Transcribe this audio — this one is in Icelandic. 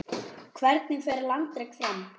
Hvernig fer landrek fram?